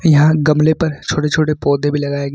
यहां गमले पर छोटे छोटे पौधे भी लगाएं गए।